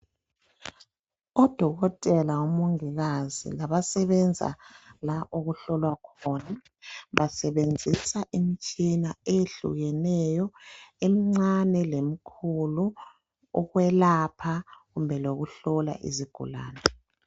Odokotela lomongikazi ngabasenza okuhlolwa khona basebenzisa imitshina eyehlukeneyo emncane lemkhulu ukwelapha kumbe lokuhlola izigulane.